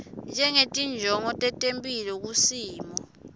ngetinjongo tetemphilo kusimo